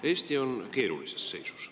Eesti on keerulises seisus.